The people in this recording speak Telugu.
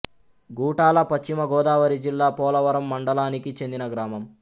గూటాల పశ్చిమ గోదావరి జిల్లా పోలవరం మండలానికి చెందిన గ్రామం